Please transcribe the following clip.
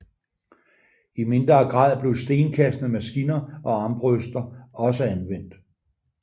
I mindre grad blev stenkastende maskiner og armbrøster også anvendt